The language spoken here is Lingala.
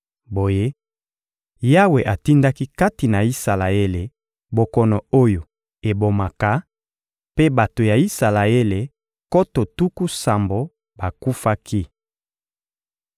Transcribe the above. Boye, Yawe atindaki kati na Isalaele bokono oyo ebomaka, mpe bato ya Isalaele nkoto tuku sambo bakufaki.